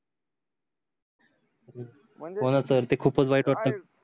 होण सर ते खूपच वाईट वाटत